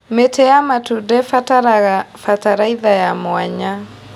Mĩtĩ ya matunda ĩbataraga bataraitha ya mwanya.